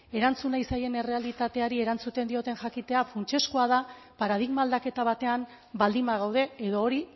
erantzun nahi zaien errealitateari erantzuten dioten jakitea funtsezkoa da paradigma aldaketa batean baldin bagaude edo hori